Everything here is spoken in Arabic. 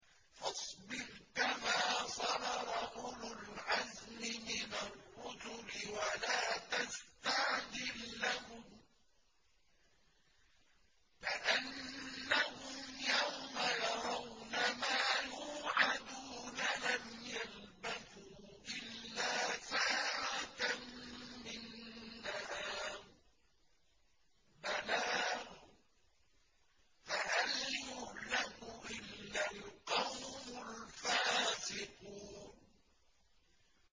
فَاصْبِرْ كَمَا صَبَرَ أُولُو الْعَزْمِ مِنَ الرُّسُلِ وَلَا تَسْتَعْجِل لَّهُمْ ۚ كَأَنَّهُمْ يَوْمَ يَرَوْنَ مَا يُوعَدُونَ لَمْ يَلْبَثُوا إِلَّا سَاعَةً مِّن نَّهَارٍ ۚ بَلَاغٌ ۚ فَهَلْ يُهْلَكُ إِلَّا الْقَوْمُ الْفَاسِقُونَ